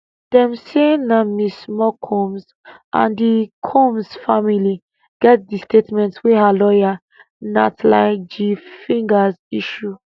dem say na ms small combs and the combs family get di statement wey her lawyer natlie g figgers issue